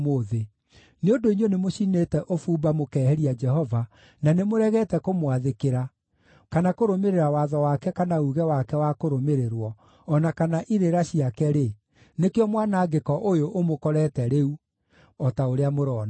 Nĩ ũndũ inyuĩ nĩmũcinĩte ũbumba mũkehĩria Jehova, na nĩmũregete kũmwathĩkĩra, kana kũrũmĩrĩra watho wake kana uuge wake wa kũrũmĩrĩrwo, o na kana irĩra ciake-rĩ, nĩkĩo mwanangĩko ũyũ ũmũkorete rĩu, o ta ũrĩa mũrona.”